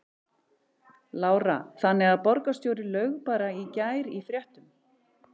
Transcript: Lára: Þannig að borgarstjóri laug bara í gær í fréttum?